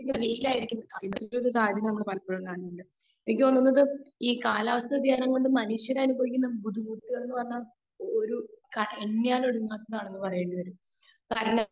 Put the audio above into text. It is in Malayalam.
സ്പീക്കർ 2 എനിക്ക് തോന്നുന്നത് ഈ കാലാവസ്ഥ വ്യതിയാനം കൊണ്ട് മനുഷ്യർ അനുഭവിക്കുന്ന ബുദ്ധിമുട്ടു എന്ന് പറഞ്ഞാൽ ഒരു